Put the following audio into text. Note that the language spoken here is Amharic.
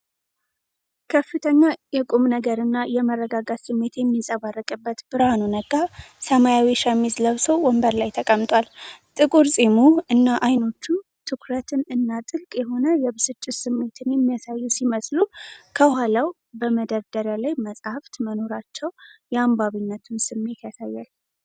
ከፍተኛ የቁምነገር እና የመረጋጋት ስሜት የሚንጸባረቅበት፤ ብርሃኑ ነጋ ሰማያዊ ሸሚዝ ለብሶ ወንበር ላይ ተቀምጧል:: ጥቁር ፂሙ እና ዓይኖቹ ትኩረትን እና ጥልቅ የሆነ የብስጭት ስሜትን የሚያሳዩ ሲመስሉ፤ ከኋላው በመደርደሪያ ላይ መጻሕፍት መኖራቸው የአንባቢነቱን ስሜት ያሳያል::